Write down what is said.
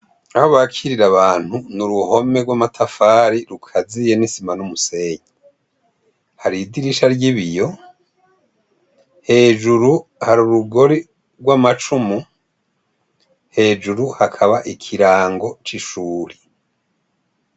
Aho bakirirra abantu, ni uruhome rw'amatafari rukaziye n'isima n'umusenyi. Hari idirisha ry'ibiyo, hejuru hari urugori rw'amacumu, hejuru hakaba ikirango c'ishure.